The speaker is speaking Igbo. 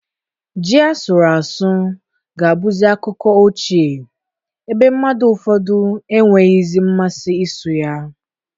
Ji asụrụ asụ ga abụzi akụkọ ochie, ebe mmadụ ụfọdụ enweghịzi mmasị isu ya